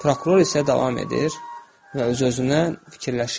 Prokuror isə davam edir və öz-özünə fikirləşirdi.